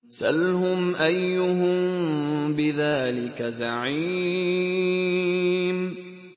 سَلْهُمْ أَيُّهُم بِذَٰلِكَ زَعِيمٌ